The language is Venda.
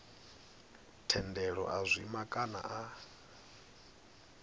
thendelo a zwima kana a